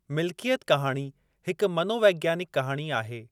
मिल्कियत कहाणी हिकु मनोवैज्ञानिक कहाणी आहे।